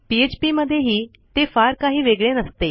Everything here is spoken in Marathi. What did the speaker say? पीएचपी मध्येही ते फार काही वेगळे नसते